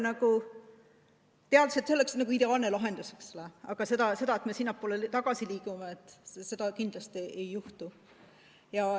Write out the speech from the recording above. Me teame, et see oleks ideaalne lahendus, aga seda, et me sinnapoole tagasi liigume, kindlasti ei juhtu.